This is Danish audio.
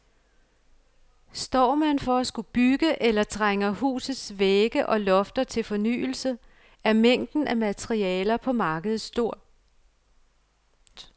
Står man for at skulle bygge, eller trænger husets vægge og lofter til fornyelse, er mængden at materialer på markedet stor.